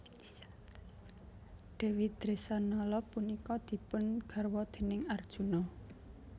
Dèwi Dresanala punika dipun garwa déning Arjuna